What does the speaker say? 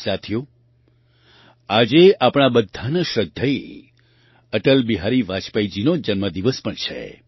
સાથીઓ આજે આપણા બધાના શ્રદ્ધેય અટલબિહારી વાજપેયીજીનો જન્મદિન પણ છે